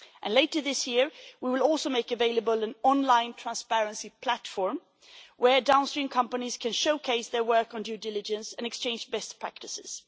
Later this year, we will also make available an online transparency platform where downstream companies can showcase their work on due diligence and exchange best practices.